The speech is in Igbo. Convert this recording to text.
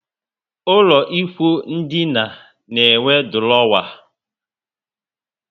Ụlọ ikwụ ndina na enwe durowa